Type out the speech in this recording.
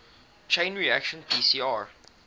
chain reaction pcr